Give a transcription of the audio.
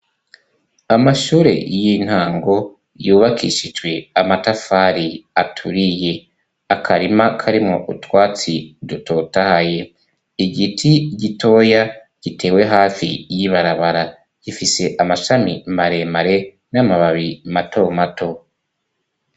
Amashure y'intango yubakishijwe amatafari aturiye, akarima karimo utwatsi dutotahaye, igiti gitoya gitewe hafi y'ibarabara gifise amashami maremare n'amababi mato mato.